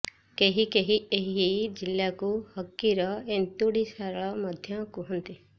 କେହି କେହି ଏହି ଜିଲ୍ଳାକୁ ହକିର ଏନ୍ତୁଡିଶାଳ ମଧ୍ୟ କୁହନ୍ତି